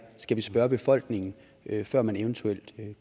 skal vi spørge befolkningen før man eventuelt